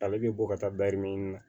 Ale bɛ bɔ ka taa na